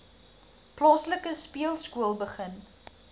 plaaslike speelskool begin